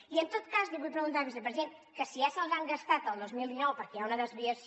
i en tot cas li vull preguntar vicepresident que si ja se’ls han gastat el dos mil dinou perquè hi ha una desviació